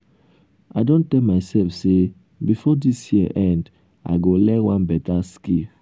i don tell mysef sey before dis year end i go learn one beta skill.